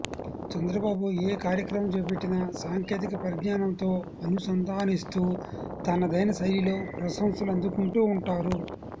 చంద్రబాబు ఏ కార్యక్రమం చేపట్టినా సాంకేతిక పరిజ్ఞానంతో అనుసంధానిస్తూ తనదైన శైలిలో ప్రశంసలు అందుకుంటూ ఉంటారు